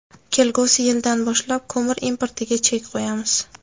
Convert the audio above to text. Kelgusi yildan boshlab ko‘mir importiga chek qo‘yamiz.